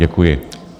Děkuji.